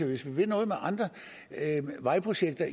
vi vil noget med andre vejprojekter